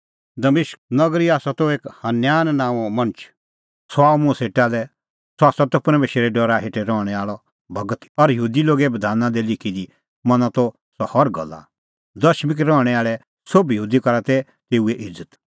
दमिश्क त एक हनन्याह नांओं मणछ सह आअ मुंह सेटा लै सह त परमेशरे डरा हेठै रहणैं आल़अ भगत और यहूदी लोगे बधाना दी लिखी दी मना त सह हर गल्ला दमिश्क रहणैं आल़ै सोभ यहूदी करा तै तेऊए इज़त